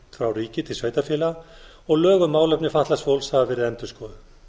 frá ríki til sveitarfélaga og lög um málefni fatlaðs fólks hafa verið endurskoðuð